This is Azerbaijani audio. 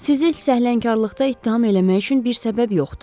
Sizi səhlənkarlıqda ittiham eləmək üçün bir səbəb yoxdur.